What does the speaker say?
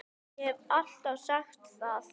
Ég hef alltaf sagt það.